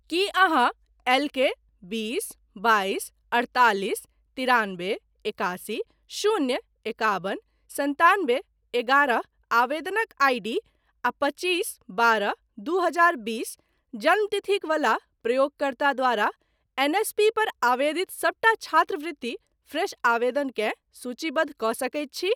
की अहाँ एल के बीस बाइस अठतालिस तिरानबे एकासी शून्य एकाबन सन्तानबे एगारह आवेदनक आईडी आ पचीस बारह दू हजार बीस जन्मतिथिक बला प्रयोगकर्ता द्वारा एनएसपी पर आवेदित सबटा छात्रवृति फ्रेश आवेदनकेँ सूचीबद्ध कऽ सकैत छी ?